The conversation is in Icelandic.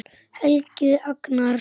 Helgi Agnars.